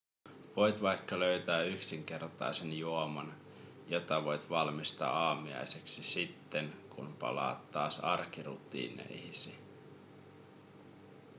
voit vaikka löytää yksinkertaisen juoman jota voit valmistaa aamiaiseksi sitten kun palaat taas arkirutiineihisi